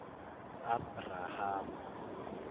abrahama